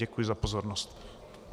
Děkuji za pozornost.